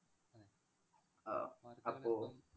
ആഹ് അപ്പൊ